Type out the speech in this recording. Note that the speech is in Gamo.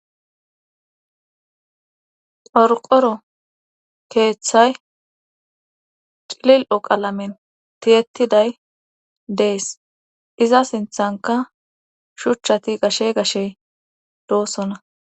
xorqoro keeththay cilil7o qalamen tiyettiday dees iza sinthanka shuchchati gashe gashey doosona